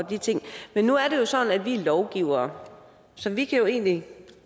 og de ting men nu er det jo sådan at vi er lovgivere så vi kan egentlig